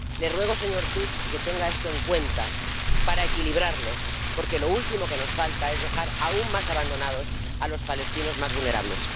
Le ruego, señor Tusk, que tenga esto en cuenta para equilibrarlo, porque lo último que nos falta es dejar aún más abandonados a los palestinos más vulnerables.